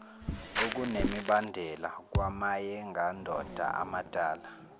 okunemibandela kwamayengandoda amadala